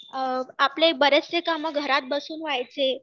अ आपले बरेचशे कामं घरात बसून व्हायचे